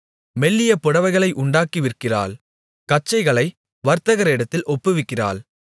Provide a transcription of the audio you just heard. மெல்லிய புடவைகளை உண்டாக்கி விற்கிறாள் கச்சைகளை வர்த்தகரிடத்தில் ஒப்புவிக்கிறாள்